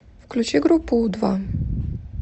включи группу у два